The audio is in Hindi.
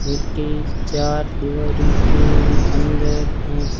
मिट्टी चार दिवारी के अंदर हैं।